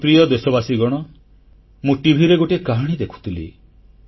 ମୋର ପ୍ରିୟ ଦେଶବାସୀଗଣ ମୁଁ ଟିଭିରେ ଗୋଟିଏ କାହାଣୀ ଦେଖୁଥିଲି